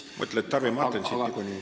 Mõtled Tarvi Martensit niikuinii.